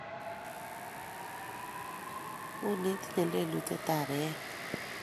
Uni itinye lelutietab eet